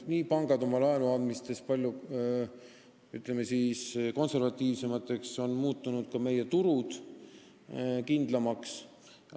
Pangad on laenu andes muutunud palju, ütleme, konservatiivsemaks, ka meie turud on muutunud kindlamaks.